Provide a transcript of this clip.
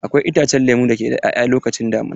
Akwai itacen lemo da ke 'ya'ya lokacin damina.